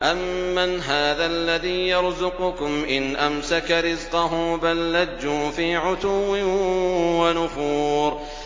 أَمَّنْ هَٰذَا الَّذِي يَرْزُقُكُمْ إِنْ أَمْسَكَ رِزْقَهُ ۚ بَل لَّجُّوا فِي عُتُوٍّ وَنُفُورٍ